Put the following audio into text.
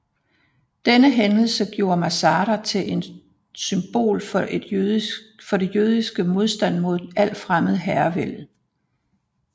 Denne hændelse gjorde Masada til en symbol for det jødiske modstand mod al fremmed herrevælde